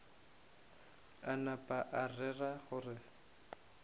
a napa a rera gore